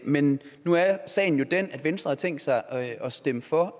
men nu er sagen jo den at venstre har tænkt sig at stemme for